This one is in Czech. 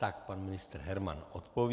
Tak pan ministr Herman odpoví.